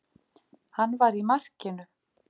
Hann var í markinu.